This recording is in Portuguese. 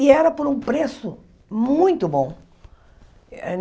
E era por um preço muito bom.